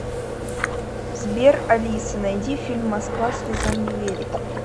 сбер алиса найди фильм москва слезам не верит